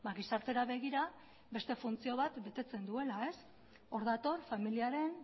gizartera begira beste funtzio bat betetzen duela hor dator familiaren